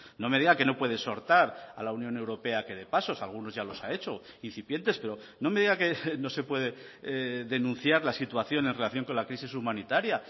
no me diga que no puede exhortar a la unión europea a que dé pasos algunos ya los ha hecho incipientes pero no me diga que no se puede denunciar la situación en relación con la crisis humanitaria